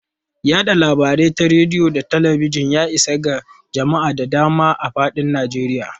Yada labarai ta rediyo da talabijin, ya isa ga jama'a da dama a fadin Najeriya.